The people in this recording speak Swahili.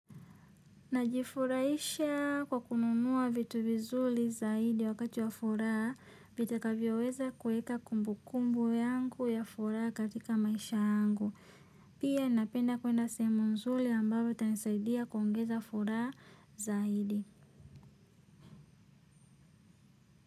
Najifuraisha kwa kununua vitu vizuri zaidi wakati wa furaha, vitakavyoweza kueka kumbu kumbu yangu ya furaha katika maisha yangu. Pia napenda kwenda sehemu nzuri ambayo itanisaidia kuongeza furaha zaidi.